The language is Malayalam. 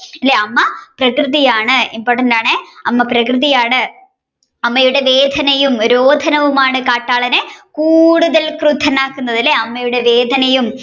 അല്ലെ അമ്മ പ്രകൃതിയാണ് important ആണ് അമ്മ പ്രകൃതിയാണ് അമ്മയുടെ വേദനയും രോധനവുമാണ് കാട്ടാളനെ കൂടുതൽ ക്രൂദ്ധനാക്കുന്നത് അല്ലെ അമ്മയുടെ വേദനയും